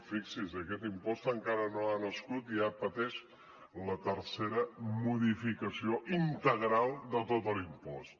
fixi’s aquest impost encara no ha nascut i ja pateix la tercera modificació integral de tot l’impost